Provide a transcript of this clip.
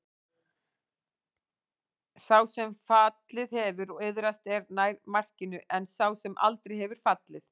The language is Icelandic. Sá sem fallið hefur og iðrast er nær markinu en sá sem aldrei hefur fallið.